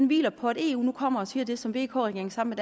hviler på at eu nu kommer og siger det som vk regeringen sammen